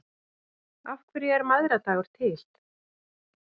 Af hverju er mæðradagur til?